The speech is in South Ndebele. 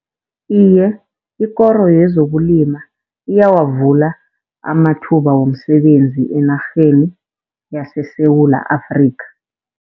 Iye, ikoro yezokulima iyawavula amathuba womsebenzi enarheni yaseSewula Afrikha.